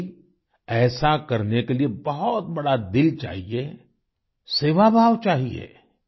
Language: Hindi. वाकई ऐसा करने के लिए बहुत बड़ा दिल चाहिए सेवाभाव चाहिए